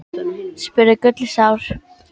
spurði Gulli sár.